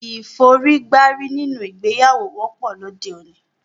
Ìforígbárí nínú ìgbéyàwó wọ́pọ̀ lóde òní